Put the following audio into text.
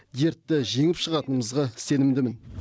дертті жеңіп шығатынымызға сенімдімін